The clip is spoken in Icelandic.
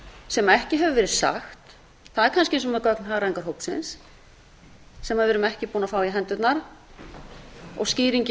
sem ekki hefur verið sagt það eru kannski gögn hagræðingarhópsins sem við erum ekki búin að fá í hendurnar og skýringin